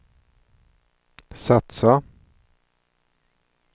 satsa